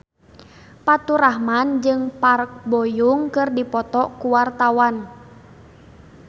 Faturrahman jeung Park Bo Yung keur dipoto ku wartawan